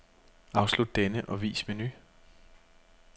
Afslut denne og vis menu.